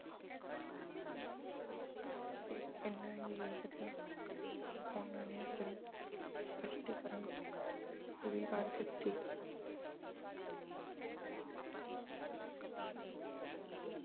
ਇਹਨਾਂ ਵੇਖਦਿਆਂ ਉਹਨਾਂ ਨੇ ਆਪਣੀ ਸਪੱਸ਼ਟੀਕਰਨ ਪੂਰੀ ਕਰ ਦਿੱਤੀ।